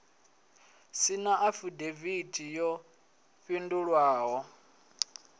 si na afidavithi yo fhindulwaho